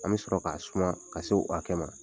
An bi sɔrɔ ka suma ka se o hakɛ ma.